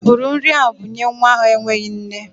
Bụrụ nri a bunye nwa ahụ enweghị nne!